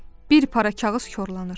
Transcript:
Bir para kağız korlanır.